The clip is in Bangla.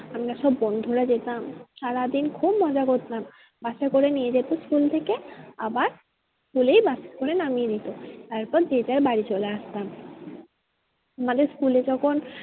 আমরা সব বন্ধুরা যেতাম সারাদিন খুব মজা করতাম বাসে করে নিয়ে যেত school থেকে আবার school এই বাসে করে নামিয়ে দিতো তারপর যে যার বাড়ি চলে আসতাম। আমাদের school এ যখন